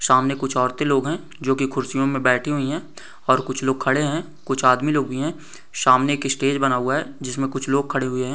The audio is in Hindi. सामने कुछ औरते लोग है जो की खुर्सियों मैं बैठी हुई है और कुछ लोग खड़े है कुछ आदमी लोग भी है सामने एक इस्टेज बना हुआ है जिसमे कुछ खड़े हुए है।